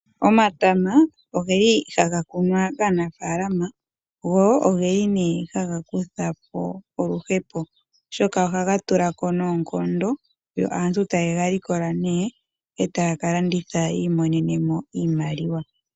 Omatama ohaga kunwa kaanafalama go ogeli haga kuthapo oluhepo oshoka ohaga tulako noonkondo. Aantu ohaye galikola ne etaya kalanditha yi imonene iimaliwa.